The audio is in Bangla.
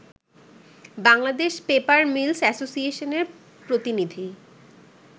বাংলাদেশ পেপার মিলস অ্যাসোসিয়েশনের প্রতিনিধি